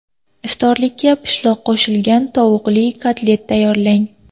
Iftorlikka pishloq qo‘shilgan tovuqli kotlet tayyorlang.